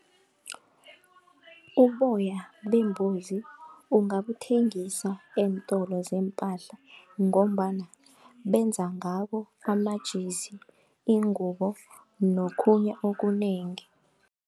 Uboya bembuzi ungabuthengisa eentolo zeempahla ngombana benza ngabo amajezi, iingubo nokhunye okunengi.